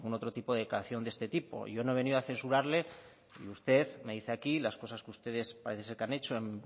otro tipo de declaración de este tipo yo no he venido a censurarle que usted me dice aquí las cosas que ustedes parece ser que han hecho en